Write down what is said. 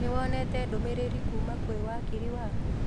Nĩwonete ndũmĩrĩri kuma kwĩ wakiri waku